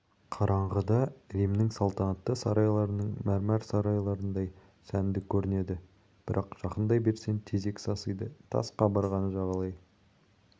қараңғыда римнің салтанатты сарайларының мәрмәр сарайларындай сәнді көрінеді бірақ жақындай берсең тезек сасиды тас қабырғаны жағалай